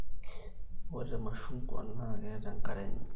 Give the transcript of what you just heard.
ore irmashungwa na keeta enkare enye